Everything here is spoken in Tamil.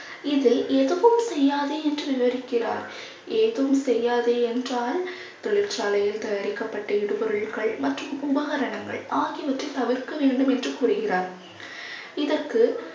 இதில் எதுவும் செய்யாதே என்று விவரிக்கிறார். எதுவும் செய்யாதே என்றால் தொழிற்சாலையில் தயாரிக்கப்பட்ட இடுபொருட்கள் மற்றும் உபகரணங்கள் ஆகியவற்றை தவிர்க்க வேண்டும் என்று கூறுகிறார் இதற்கு